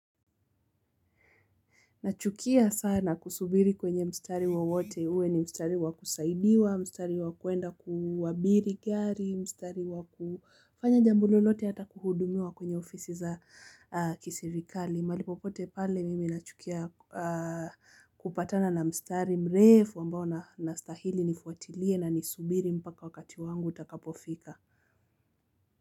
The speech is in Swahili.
Nachukia sana kusubiri kwenye mstari wowote, uwe ni mstari wa kusaidiwa, mstari wa kuenda kuabiri gari, mstari wakufanya jambo lolote hata kuhudumia kwenye ofisi za kiserikali. Mahali popote pale mimi nachukia kupatana na mstari mrefu ambao nastahili nifuatilie na nisubiri mpaka wakati wangu utakapofika.